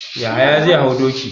Yahaya zai hau doki.